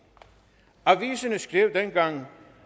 aviserne skrev dengang